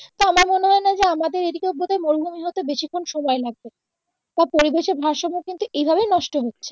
তা আমার মনে হয়না যে আমাদের এইদিকে বোধহয় মরুভূমি হতে বেশিক্ষন সময় লাগবেনা আর পরিবেশের ভারসাম্য কিন্তু এইভাবেই নষ্ট হচ্ছে